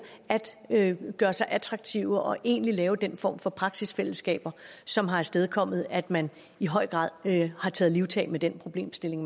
at gøre sig attraktiv og egentlig lave den form for praksisfællesskaber som har afstedkommet at man i høj grad har taget livtag med den problemstilling